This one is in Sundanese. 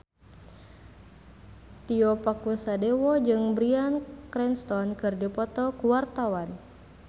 Tio Pakusadewo jeung Bryan Cranston keur dipoto ku wartawan